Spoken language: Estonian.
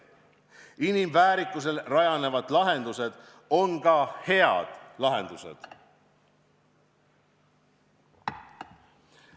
Inimväärikusel rajanevad lahendused on ka head lahendused.